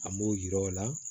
An b'o yir'o la